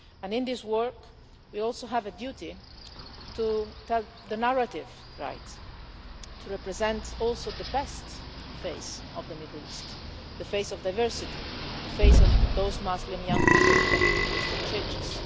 In this work we also have a duty to get the narrative right and also to represent the best face of the Middle East the face of diversity, the face of those Muslim young people protecting Christian churches.